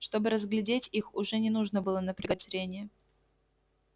чтобы разглядеть их уже не нужно было напрягать зрение